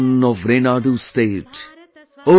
The Sun of Renadu State,